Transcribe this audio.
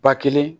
Ba kelen